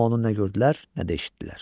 Amma onu nə gördülər, nə də eşitdilər.